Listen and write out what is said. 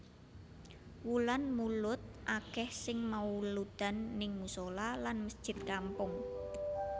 Wulan mulud akeh sing mauludan ning musola lan mesjid kampung